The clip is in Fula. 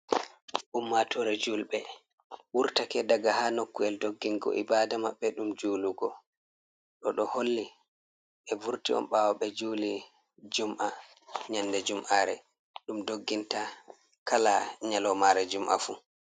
Ummatore julɓe wurtake daga ha nokku'el doggingo ibada maɓɓe e ɗum julugo, ɗo ɗo holli ɓe vurti on bawo ɓe juli jum'a nyande jum'are ɗum dogginta kala nyalomare jum'a fu.